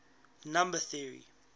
number theory